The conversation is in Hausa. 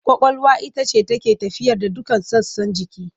Ƙwaƙwalwa ita ce take tafiyar da dukkan sassan jiki.